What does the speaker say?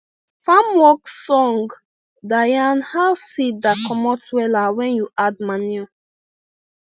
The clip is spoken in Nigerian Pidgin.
farm work song da yan how seed da comot wella wen u add manure